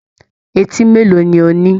Eti mélòó ni o ní?